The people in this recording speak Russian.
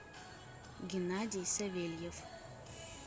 геннадий савельев